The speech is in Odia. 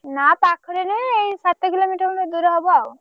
ନା ପାଖରେ ନୁହେଁ ଏଇ ସାତ kilometre ଖଣ୍ଡେ ଦୂର ହବ ଆଉ।